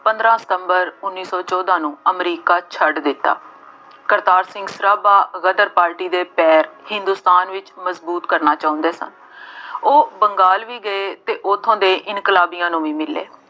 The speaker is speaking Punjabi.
ਪੰਦਰਾ ਸਤੰਬਰ ਉੱਨੀ ਸੌ ਚੋਦਾਂ ਨੂੰ ਅਮਰੀਕਾ ਛੱਡ ਦਿੱਤਾ। ਕਰਤਾਰ ਸਿੰਘ ਸਰਾਭਾ ਗਦਰ ਪਾਰਟੀ ਦੇ ਪੈਰ ਹਿੰਦੁਸਤਾਨ ਵਿੱਚ ਮਜ਼ਬੂਤ ਕਰਨਾ ਚਾਹੁੰਦੇ ਸਨ। ਉਹ ਬੰਗਾਲ ਵੀ ਗਏ ਅਤੇ ਉੱਥੋਂ ਦੇ ਇਨਕਲਾਬੀਆਂ ਨੂੰ ਵੀ ਮਿਲੇ।